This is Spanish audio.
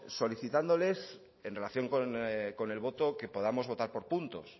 solicitándoles en relación con el voto que podamos votar por puntos